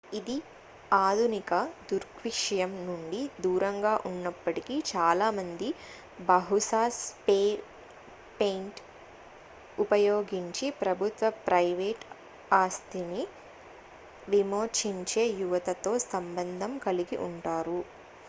ఇది ఆధునిక దృగ్విషయం నుండి దూరంగా ఉన్నప్పటికీ చాలామంది బహుశా స్ప్రే పెయింట్ ఉపయోగించి ప్రభుత్వ ప్రైవేట్ ఆస్తిని విమోచించే యువతతో సంబంధం కలిగి ఉంటారు